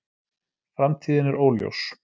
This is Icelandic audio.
Framtíðin er óljós